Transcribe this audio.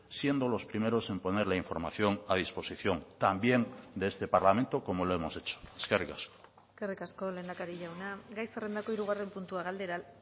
siendo los primeros en poner la información a disposición también de este parlamento como lo hemos hecho eskerrik asko eskerrik asko lehendakari jauna gai zerrendako hirugarren puntua galdera